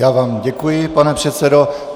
Já vám děkuji, pane předsedo.